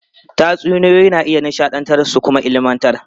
Tatsuniyoyi na iya nishadantar su kuma ilmantar.